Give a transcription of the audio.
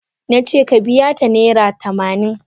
Na ce ka biya ta naira tamanin.